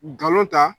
Nkalon ta